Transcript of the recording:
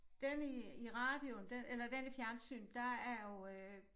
Den i i radioen den eller den i fjernsynet der er jo øh